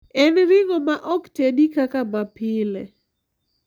En ring`o ma ok tedi kaka mapile.